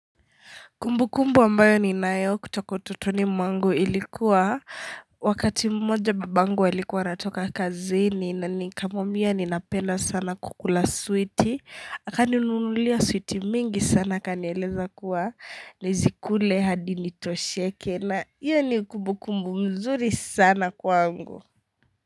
Kumbukumbu ambayo ni nanayo kutoka utotoni mwangu ilikuwa wakati mmoja babangu alikuwa natoka kazini na nikamwambia ninapenda sana kukula switi Akaninunulia switi mingi sana kanieleza kuwa nizikule hadi nitosheke na hiyo ni kumbukumbu nzuri sana kwangu.